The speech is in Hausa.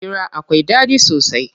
Hira akwai ɗaɗi sosai.